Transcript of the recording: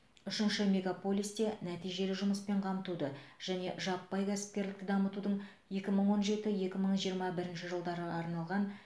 үшінші мегаполисте нәтижелі жұмыспен қамтуды және жаппай кәсіпкерлікті дамытудың екі мың он жеті екі мың жиырма бірінші жылдарға арналған